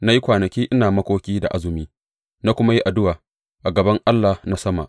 Na yi kwanaki ina makoki da azumi, na kuma yi addu’a a gaban Allah na sama.